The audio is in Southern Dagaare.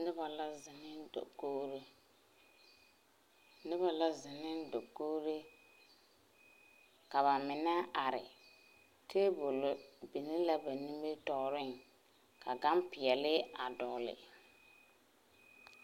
Noba la zeŋ ne dakogre, noba la zeŋ ne dakogre ka ba mene are. Tabule biŋ la a ba nimitooreŋ ka gane piɛlee a dogle